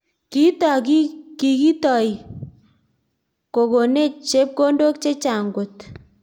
Kiitok kikitoi kokonech chepkondok chechang koot